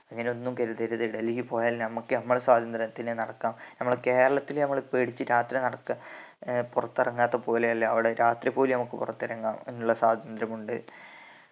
അങ്ങനെ ഒന്നും കരുതരുത് ഡൽഹിപോയാല് നമ്മക്ക് നമ്മളെ സ്വാതന്ത്ര്യത്തിന് നടക്കാം നമ്മളെ കേരളത്തില് നമ്മള് പേടിച്ച് രാത്രി നടക്ക ഏർ പുറത്തിറങ്ങാത്ത പോലെ അല്ല അവിടെ രാത്രി പോലും നമ്മക്ക് പുറത്തിറങ്ങാം എന്ന ഉള്ള സ്വാതന്ത്രമുണ്ട്